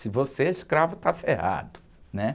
Se você é escravo, está ferrado, né?